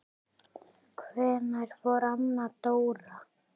Hvenær fór Anna Dóra?